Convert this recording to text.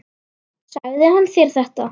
Sagði hann þér þetta?